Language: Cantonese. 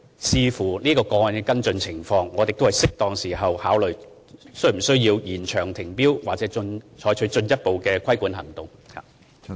視乎這個案的跟進情況，我們會在適當時候考慮，是否需要延長停標或採取進一步的規管行動。